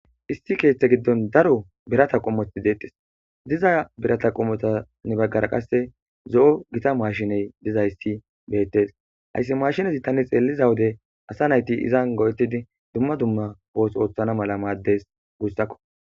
isti keeththe giddon daro birata qommoti deetis diza birata qommotanni baggara qasse zo'o gitta mashshiney dizayssi bettees hayssi mashshinezi tani xeelliza wode asa nayti izan go'etidi dumma dumma ooththo ooththana malla maddees gussakko